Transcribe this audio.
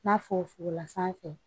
N'a f'o fogola sanfɛ